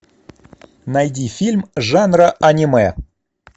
найди фильм жанра аниме